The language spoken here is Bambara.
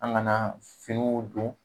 An gana finiw don